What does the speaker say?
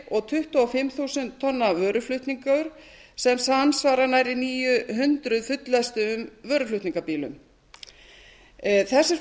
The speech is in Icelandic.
og tuttugu og fimm þúsund tonna vöruflutningur sem samsvarar nærri níu hundruð fulllestuðum vöruflutningabílum þessir